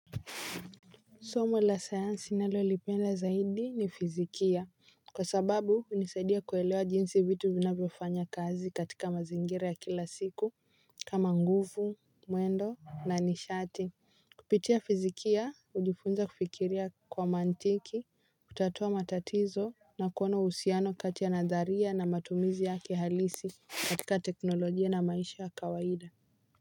Somo la sayansi ninalolipenda zaidi ni fizikia wa sababu hunisaidia kuelewa jinsi vitu vinavyofanya kazi katika mazingira ya kila siku. Kama nguvu mwendo na nishati kupitia fizikia hujifunza kufikiria kwa mantiki, hutatua matatizo na kuona uhusiano kati ya nadharia na matumizi yake halisi katika teknolojia na maisha ya kawaida.